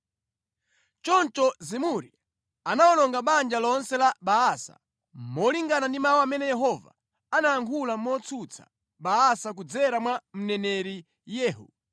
Choncho Zimuri anawononga banja lonse la Baasa, molingana ndi mawu amene Yehova anayankhula motsutsa Baasa kudzera mwa mneneri Yehu,